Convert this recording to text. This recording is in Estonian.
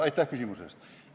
Aitäh küsimuse eest!